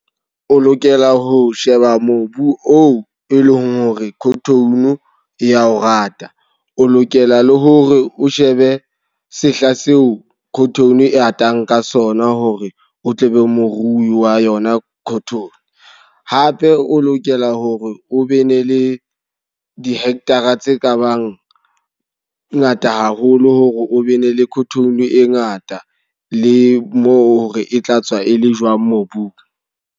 O lokela ho sheba mobu oo e leng hore cotton e ya o rata. O lokela le hore o shebe sehla seo cotton e atang ka sona hore o tle be morui wa yona cotton. Hape o lokela hore o be ne le di-hectar-a tse ka bang ngata haholo. Hore o be ne le cotton e ngata, le mo re e tla tswa e le jwang mobung.